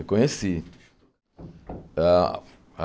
Eu conheci. Ah ah